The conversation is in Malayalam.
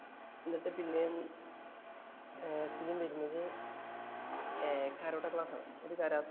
എന്നിട്ട് പിന്നേം സീന്‍ വരുന്നത് ഏർ കരോട്ടാ ക്ലാസ്സ്‌ ആണ്.